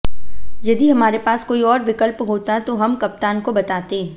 यदि हमारे पास कोई और विकल्प होता तो हम कप्तान को बताते